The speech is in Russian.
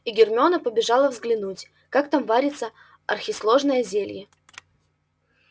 и гермиона побежала взглянуть как там варится архисложное зелье